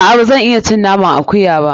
A'a, ba zan iya cin naman akuya ba.